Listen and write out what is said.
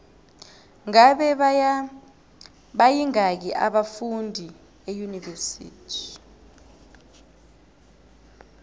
ngabe bayingaki abafundi eunivesithi